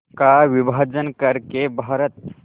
का विभाजन कर के भारत